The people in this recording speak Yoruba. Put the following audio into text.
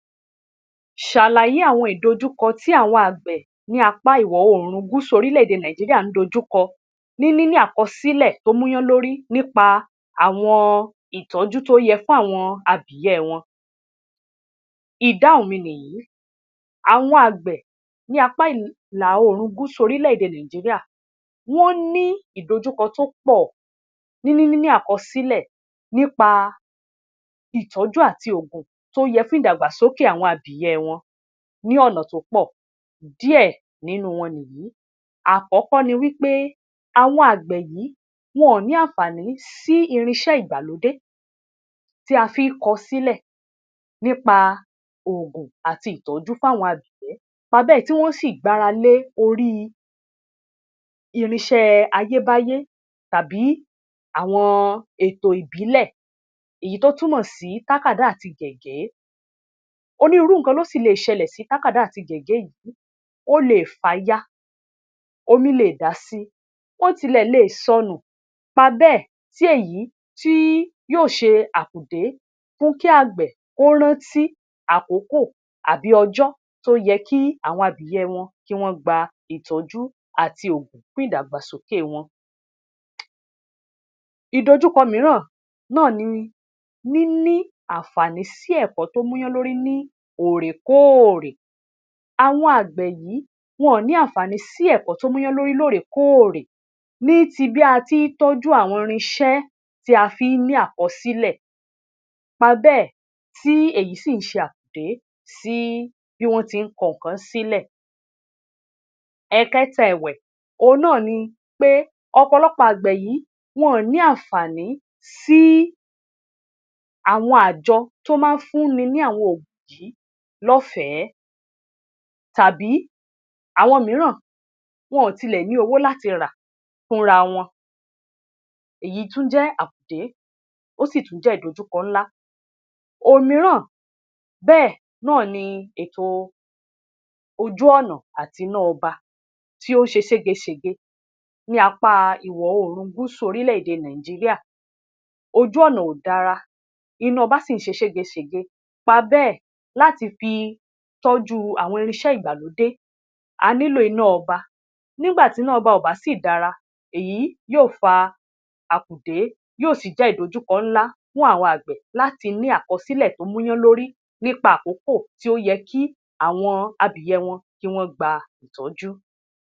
Ṣàlàyé àwọn ìdojúkọ tí àwọn àgbẹ̀ ní apá ìwọ̀ oòrùn gúúsù orílẹ̀-èdè Nàìjíríà ń dojú kọ ní níní àkọsílẹ̀ tó múyánlórí nípa àwọn ìtọ́jú tó yẹ fún àwọn abìyẹ́ wọn. Ìdáhùn mi nìyí. Àwọn àgbẹ̀ ní apá ìlà-oòrùn Gúúsù orílẹ̀-èdè Nàìjíríà wọ́n ní ìdojúkọ tó pọ̀ ní níní àkọsílẹ̀ nípa ìtọ́jú àti òògùn tó yẹ fún ìdàgbàsókè àwọn abìyẹ́ wọn ní ọ̀nà tó pọ̀. Díẹ̀ nínú wọn nìyìí. Àkọ́kọ́ ni wí pé àwọn àgbẹ̀ yìí, wọn ò ní ànfààní sí irinṣẹ́ ìgbàlódé tí a fi í kọ sílẹ̀ nípa òògùn àti ìtọ́jú fáwọn abìyẹ́, nípa bẹ́ẹ̀, tí wọ́n sì gbára lé orí irinṣẹ́ ayébáyé tàbí àwọn ètò ìbílẹ̀ èyí tó túmọ̀ sí tákàdá àti gégé. Onírúurú nǹkan ló sì le ṣẹlẹ̀ sí tákàdá àti gègé yìí. Ó le è fàya, omi le è dà sí i, ó tilẹ̀ leè sọnù, nípa bẹ́ẹ̀, tí èyí tí yóò ṣe àkùdé fún kí àgbẹ̀ kó rántí àkókò àbí ọjọ́ tó yẹ kí àwọn abìyẹ́ wọn kí wọ́n gba ìtọ́jú àti òògùn fún ìdàgbàsókè wọn. Ìdojúkọ mìíràn náà ni níní ànfààní sí ẹ̀kọ́ tó múyánlórí ní òòrèkóòrè. Àwọn àgbẹ̀ yìí, wọn ò ní àfààní sí ẹ̀kó tó múyánlórí lóòrèkóòrè ní tí bí a tií tọ́jú àwọn irinṣẹ́ tí a fi í ní àkọsílẹ̀, nípa bẹ́ẹ̀, tí èyí sì ń ṣe àkùdé sí bí wọ́n ti ń kọ nǹkan sílẹ̀. Ẹ̀ẹ̀kẹta ẹ̀wẹ̀, òhun náà ni pé ọ̀pọ̀lọpọ̀ àgbẹ̀ yìí, wọn ò ní ànààní sí àwọn àjọ tó máa ń fúnni ní àwọn oògùn yìí lọ́fẹ̀ẹ́, tàbí, àwọn mìíràn, wọn ò tilẹ̀ ní owó lati rà fúnra wọn. Èyí tún jẹ́ àkùdé, ó sì tún jẹ́ ìdojúkọ ńlá. Òmìíràn bẹ́ẹ̀ náà ni ètò ojú-ọ̀nà àti iná ọba tí ó ṣe ségesège ní apá ìwọ̀-oòrùn gúúsù orílẹ̀-èdè Nàìjíríà. Ojú-ọ̀nà ò dára, iná-ọba sì ń ṣe ségesège, nípa bẹ́ẹ̀, láti fi tọ́jú àwọn irinṣẹ́ ìgbàlódé, a nílò iná-ọba. Nígbà tí iná-ọba ò bá sì dára, èyí yóò fa àkùdé yóò sì jẹ́ ìdojúkọ ńlá fún àwọn àgbẹ̀ láti ní àkọsílẹ̀ tó múyánlórí nípa àkókò tí ó yẹ kí àwọn abìyẹ́ wọn kí wọ́n gba ìtọ́jú.